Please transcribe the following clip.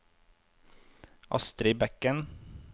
Astri Bekken